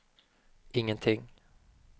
ingenting